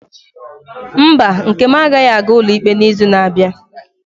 Mba, nkem agaghị aga ụlọ ikpe n'izu na-abịa.